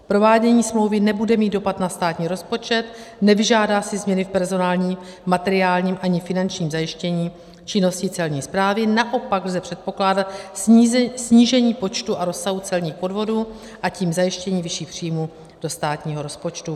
Provádění smlouvy nebude mít dopad na státní rozpočet, nevyžádá si změny v personálním, materiálním ani finančním zajištění činnosti celní správy, naopak lze předpokládat snížení počtu a rozsahu celních podvodů, a tím zajištění vyšších příjmů do státního rozpočtu.